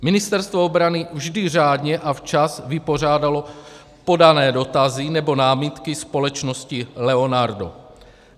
Ministerstvo obrany vždy řádně a včas vypořádalo podané dotazy nebo námitky společnosti Leonardo.